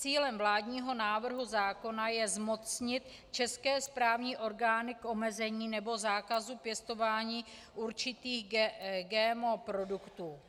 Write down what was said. Cílem vládního návrhu zákona je zmocnit české správní orgány k omezení nebo zákazu pěstování určitých GMO produktů.